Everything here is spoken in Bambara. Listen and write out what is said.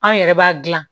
Anw yɛrɛ b'a dilan